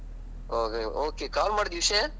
ಹೌದಾ okay call ಮಾಡಿದ್ದು ವಿಷ್ಯ?